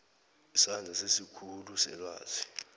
isandla sesikhulu selwazi